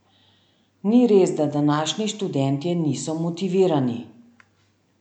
Ni res, da današnji študentje niso motivirani!